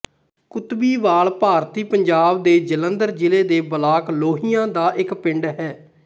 ਕੁਤਬੀਵਾਲ ਭਾਰਤੀ ਪੰਜਾਬ ਦੇ ਜਲੰਧਰ ਜ਼ਿਲ੍ਹੇ ਦੇ ਬਲਾਕ ਲੋਹੀਆਂ ਦਾ ਇੱਕ ਪਿੰਡ ਹੈ